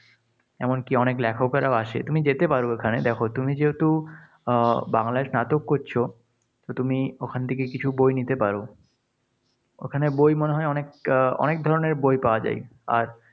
এমনকি অনেক লেখকেরাও আসে। তুমি যেতে পারো ওখানে। দেখো, তুমি যেহেতু আহ বাংলায় স্নাতক করছ, তো তুমি ওখানে থেকে কিছু বই নিতে পারো। ওখানে বই মনে হয় অনেক আহ অনেক ধরনের ধরনের বই পাওয়া যায়। আর